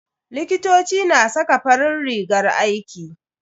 Likitoci na saka farin rigar aiki.